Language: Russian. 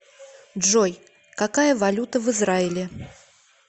джой какая валюта в израиле